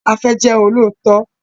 A fẹ jẹ olóòótọ?